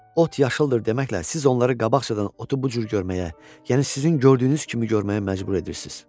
"Ot yaşıldır" deməklə siz onlara qabaqcadan otu bu cür görməyə, yəni sizin gördüyünüz kimi görməyə məcbur edirsiniz.